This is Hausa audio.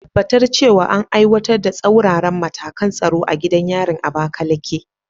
Tabbatar cewa an aiwatar da tsauraran matakan tsaro a gidan yarin Abakaleke.